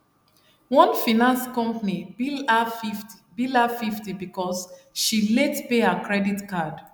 one finance company bill her 50 bill her 50 because she late pay her credit card